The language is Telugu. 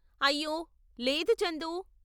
అయ్యో, లేదు చందు.